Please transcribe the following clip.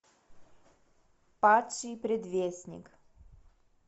падший предвестник